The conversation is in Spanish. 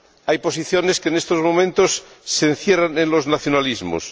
Hay posiciones que, en estos momentos, se encierran en los nacionalismos.